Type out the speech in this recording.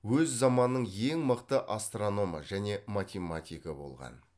өз заманның ең мықты астрономы және математигі болған